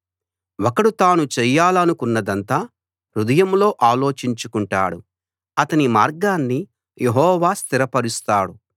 ఒకడు తాను చేయాలనుకున్నదంతా హృదయంలో ఆలోచించుకుంటాడు అతని మార్గాన్ని యెహోవా స్థిరపరుస్తాడు